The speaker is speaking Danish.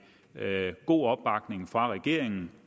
med god opbakning fra regeringen